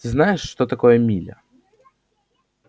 знаешь что такое миля